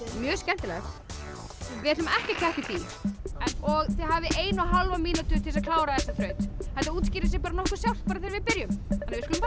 mjög skemmtilegt við ætlum ekki að keppa í því þið hafið eina og hálfa mínútu til þess að klára þessa þraut þetta útskýrir sig nokkuð sjálft bara þegar við byrjum við skulum bara